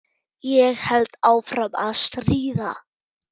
Ég held áfram að stríða.